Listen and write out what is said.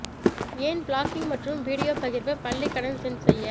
ஏன் பிளாக்கிங் மற்றும் வீடியோ பகிர்வு பள்ளி கடன் சென்ஸ் செய்ய